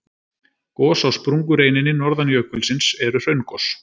Gos á sprungureininni norðan jökulsins eru hraungos.